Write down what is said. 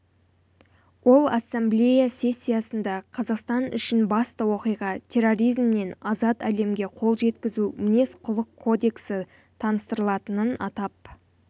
ол ассамблея сессиясында қазақстан үшін басты оқиға терроризмнен азат әлемге қол жеткізу мінез-құлық кодексі таныстырылатынын атап